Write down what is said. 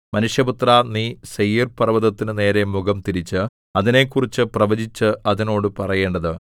മനുഷ്യപുത്രാ നീ സെയീർപർവ്വതത്തിനു നേരെ മുഖംതിരിച്ച് അതിനെക്കുറിച്ച് പ്രവചിച്ച് അതിനോട് പറയേണ്ടത്